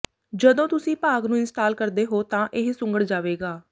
ਜਦੋਂ ਤੁਸੀਂ ਭਾਗ ਨੂੰ ਇੰਸਟਾਲ ਕਰਦੇ ਹੋ ਤਾਂ ਇਹ ਸੁੰਘੜ ਜਾਵੇਗਾ